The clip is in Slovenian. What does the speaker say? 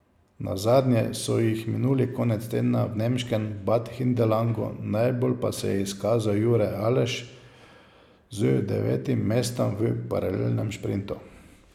Nazadnje so jih minuli konec tedna v nemškem Bad Hindelangu, najbolj pa se je izkazal Jure Aleš z devetim mestom v paralelnem šprintu.